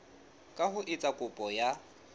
ka ho etsa kopo ya